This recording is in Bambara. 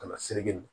Ka na siri